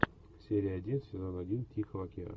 серия один сезон один тихого океана